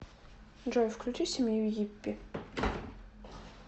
джой включи семью йиппи